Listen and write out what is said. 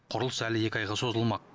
құрылыс әлі екі айға созылмақ